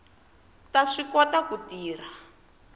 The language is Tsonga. ta swi kota ku tirha